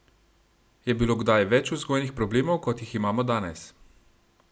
Je bilo kdaj več vzgojnih problemov, kot jih imamo danes?